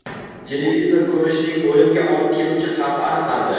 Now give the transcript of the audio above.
Televizor ko‘rishning o‘limga olib keluvchi xavfi aniqlandi.